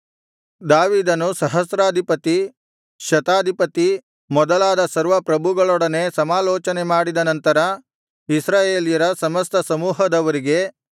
ದಾವೀದನು ಸಹಸ್ರಾಧಿಪತಿ ಶತಾಧಿಪತಿ ಮೊದಲಾದ ಸರ್ವಪ್ರಭುಗಳೊಡನೆ ಸಮಾಲೋಚನೆ ಮಾಡಿದ ನಂತರ ಇಸ್ರಾಯೇಲ್ಯರ ಸಮಸ್ತ ಸಮೂಹದವರಿಗೆ